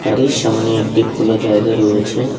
এর সামনে একটি খোলা জায়গা রয়েছে।